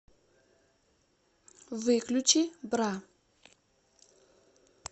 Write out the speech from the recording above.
выключи бра